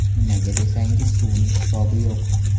Nimaga desangiz, suvning hisobi yo‘q.